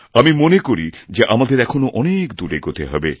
আমি মনে করি যে আমাদের এখনও অনেক দূর এগোতে হবে